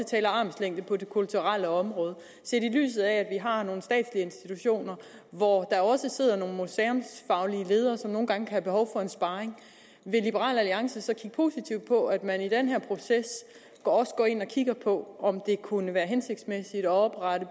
taler armslængde på det kulturelle område set i lyset af at vi har nogle statslige institutioner hvor der også sidder nogle museumsfaglige ledere som nogle gange kan have behov for en sparring vil liberal alliance så kigge positivt på at man i den her proces også går ind og kigger på om det kunne være hensigtsmæssigt at oprette